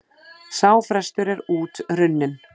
Sá frestur er út runninn.